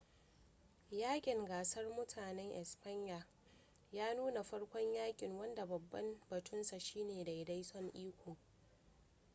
yaƙin gasar mutanen espanya ya nuna farkon yaƙin wanda babban batunsa shine daidaiton iko